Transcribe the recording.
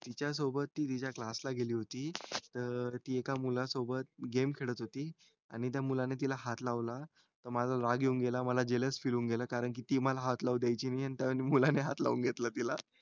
तिच्या सोबत ती एका class ला गेली होती त अं एका मुला सोबत game खेळात होती आणि त्या मुलाने तिला हात लावला त मला राग येऊन गेला मला जलस fill होऊन गेलं कि कारण ती मला ने हात लावू द्यायची नाही आणि त्या मुलाने हात लावून घेतला तिला